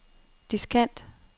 diskant